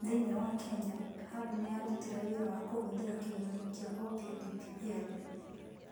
Thĩinĩ wa Kenya, hub nĩ yarutire wĩra wa kũhũthĩra kĩgeranio kĩa Oppia DPL.